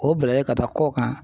O bilalen ka taa kɔ kan.